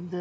енді